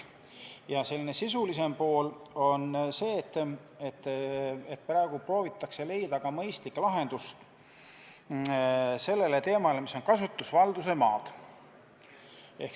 Ja teine, selline sisulisem ettepanek oli seotud sellega, et proovitakse leida mõistlikku lahendust kasutusvalduse maade teemale.